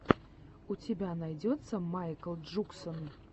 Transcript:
у тебя найдется майкл джуксон